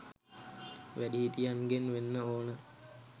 වැඩිහිටියන්ගෙන් වෙන්න ඕනෙ.